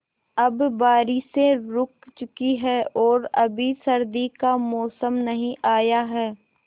अब बारिशें रुक चुकी हैं और अभी सर्दी का मौसम नहीं आया है